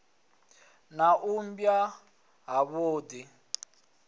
na u mba ha vhudi